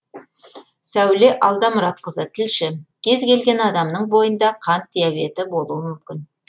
сәуле алдамұратқызы тілші кез келген адамның бойында қант диабеті болуы мүмкін